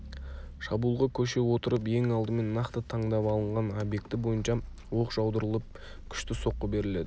шабуылға көше отырып ең алдымен нақты таңдап алынған объекті бойынша оқ жаудырылып күшті соққы беріледі